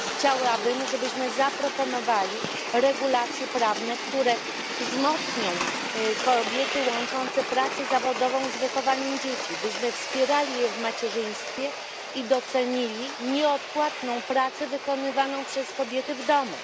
Chciałabym, żebyśmy zaproponowali regulacje prawne, które wzmocnią kobiety łączące pracę zawodową z wychowaniem dzieci, żebyśmy wspierali je w macierzyństwie i docenili nieodpłatną pracę wykonywaną przez kobiety w domu.